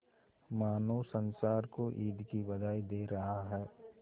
मानो संसार को ईद की बधाई दे रहा है